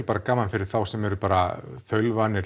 bara gaman fyrir þá sem eru bara þaulvanir